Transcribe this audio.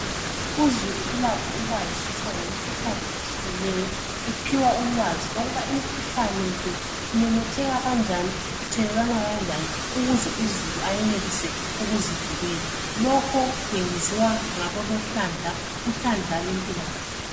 Uzulu ulakho ukwazisa ngemikhuhlane . Ephiwa ukwazi ukuthi imikhuhlane le imemetheke kanjani, ithelelwana kanjani ukuze uzulu enelise ukuzivikela. Lokhu kwenziwa luhlandla lempilakahle.